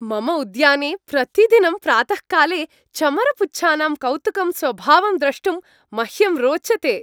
मम उद्याने प्रतिदिनं प्रातःकाले चमरपुच्छानां कौतुकं स्वभावं द्रष्टुं मह्यं रोचते।